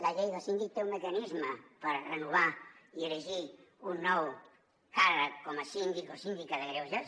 la llei del síndic té un mecanisme per renovar i elegir un nou càrrec com a síndic o síndica de greuges